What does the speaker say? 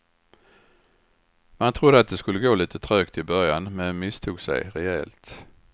Man trodde att det skulle gå lite trögt i början men misstog sig rejält.